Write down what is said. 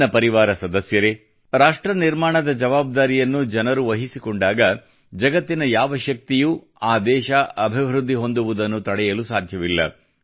ನನ್ನ ಪರಿವಾರ ಸದಸ್ಯರೇ ರಾಷ್ಟ್ರ ನಿರ್ಮಾಣದ ಜವಾಬ್ದಾರಿಯನ್ನು ಜನರು ವಹಿಸಿಕೊಂಡಾಗ ಜಗತ್ತಿನ ಯಾವ ಶಕ್ತಿಯೂ ಆ ದೇಶ ಅಭಿವೃದ್ಧಿ ಹೊಂದುವುದನ್ನು ತಡೆಯಲು ಸಾಧ್ಯವಿಲ್ಲ